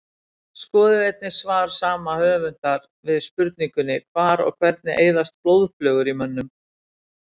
Skoðið einnig svar saman höfundar við spurningunni Hvar og hvernig eyðast blóðflögur í mönnum?